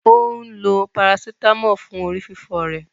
Ó ń lo parasítámọ̀ fún orí fífọ́ rẹ̀.